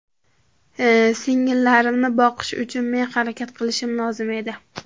Singillarimni boqish uchun men harakat qilishim lozim edi.